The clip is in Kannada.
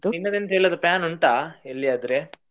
ನಿನ್ನದು ಎಂಥ ಎಲ್ಲಾದ್ರೂ plan ಉಂಟಾ ಎಲ್ಲಿ ಆದ್ರೆ?